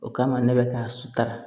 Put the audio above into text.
O kama ne bɛ ka sutara